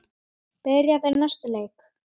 Byrja þeir næsta leik?